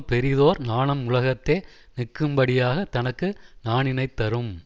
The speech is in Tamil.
பெரியதோர் நாணம் உலகத்தே நிற்கும்படியாகத் தனக்கு நாணினைத் தரும்